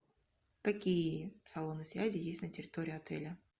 какие салоны связи есть на территории отеля